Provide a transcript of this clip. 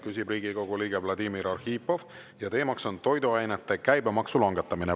Küsib Riigikogu liige Vladimir Arhipov ja teemaks on toiduainete käibemaksu langetamine.